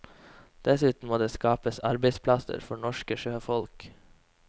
Dessuten må det skapes arbeidsplasser for norske sjøfolk.